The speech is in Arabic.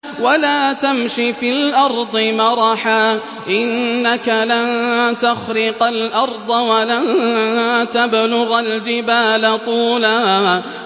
وَلَا تَمْشِ فِي الْأَرْضِ مَرَحًا ۖ إِنَّكَ لَن تَخْرِقَ الْأَرْضَ وَلَن تَبْلُغَ الْجِبَالَ طُولًا